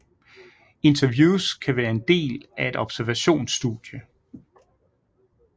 Interviews kan være den del af et observationsstudie